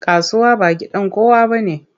Kasuwa ba gidan kowa bane.